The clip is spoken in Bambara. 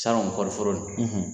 Sango kɔriforo nin